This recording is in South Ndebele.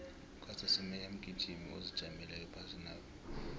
ucaster semenya mgijimi ozijameleko ephasinapha